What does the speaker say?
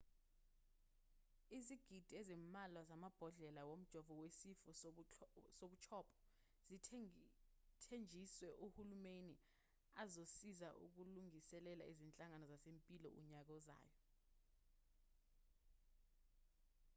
izigidi ezimbalwa zamabhodlela womjovo wesifo sobuchopho zithenjiswe uhulumeni azosiza ukulungiselela izinhlangano zezempilo unyaka ozayo